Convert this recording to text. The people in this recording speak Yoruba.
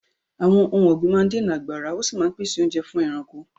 Àwọn ohun ọ̀gbìn máa ń dènà àgbàrá, ó sì máa ń pèsè oúnjẹ fún ẹranko.